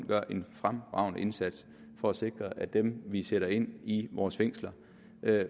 gør en fremragende indsats for at sikre at dem vi sætter ind i vores fængsler